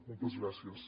moltes gràcies